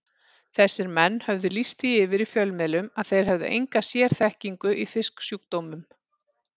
Þessir menn höfðu lýst því yfir í fjölmiðlum að þeir hefðu enga sérþekkingu í fisksjúkdómum.